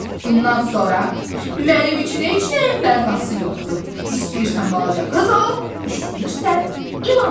Bundan sonra mənim üçün heç nəyin mənası yoxdur, istəyirsən balaca qız ol, istəyirsən ilan ol.